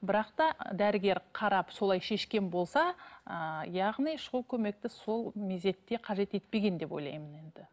бірақ та дәрігер қарап солай шешкен болса ыыы яғни шұғыл көмекті сол мезетте қажет етпеген деп ойлаймын енді